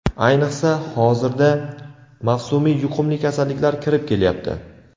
Ayniqsa, hozirda mavsumiy yuqumli kasalliklar kirib kelyapti.